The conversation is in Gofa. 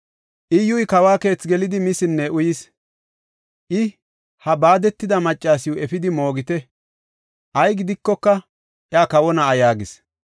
Iyyuy kawa keethi gelidi, misinne uyis. I, “Ha baadetida maccasiw efidi moogite; ay gidikoka iya kawo na7a” yaagis.